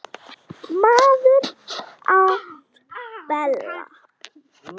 Maður án pela